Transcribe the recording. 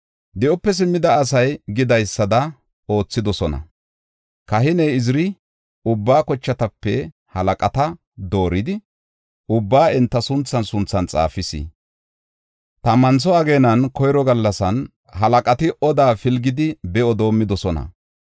Di7ope simmida asay gidaysada oothidosona. Kahiney Iziri ubba kochatape halaqata dooridi, ubbaa enta sunthan sunthan xaafis. Tammantho ageenan koyro gallasan halaqati oda pilgidi be7o doomidosona.